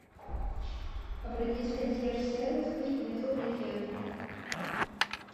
обратись в консьерж сервис пусть принесут мне фен